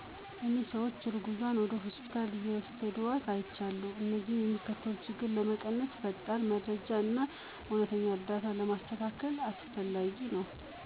እኔ ሰዎች እርጉዝዋን ወደ ሆስፒታል እየውሰድዋት አይቻለሁ። እንደዚህ የሚከሰተው ችግር ለመቀነስ የፈጣን መረጃ እና የእውነተኛ እርዳታ ማስተዳደር አስፈላጊ ነው።